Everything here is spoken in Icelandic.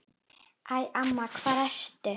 Æ, amma hvar ertu?